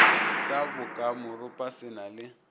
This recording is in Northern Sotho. sa bokamoropa se na le